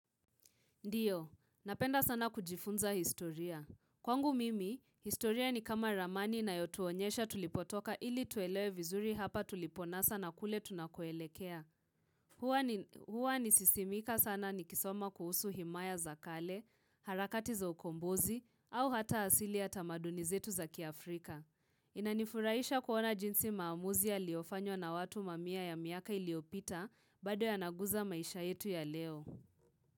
Ndiyo, napenda sana kujifunza historia. Kwangu mimi, historia ni kama ramani inayotuonyesha tulipotoka ili tuelewe vizuri hapa tuliponasa na kule tunakoelekea. Huwa nisisimika sana ni kisoma kuhusu himaya za kale, harakati za okombozi au hata asili ya tamaduni zetu za kiafrika. Inanifurahisha kuona jinsi maamuzi yaliofanywa na watu mamia ya miaka iliyopita bado yanaguza maisha yetu ya leo.